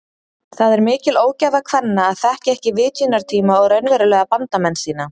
Það er mikil ógæfa kvenna að þekkja ekki vitjunartíma og raunverulega bandamenn sína.